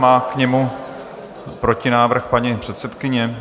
Má k němu protinávrh paní předsedkyně?